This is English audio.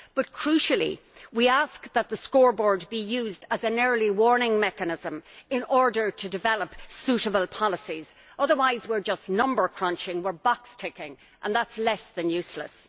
But crucially, we ask that the scoreboard be used as an early warning mechanism in order to develop suitable policies, otherwise we are just number crunching, we are box ticking, and that is less than useless.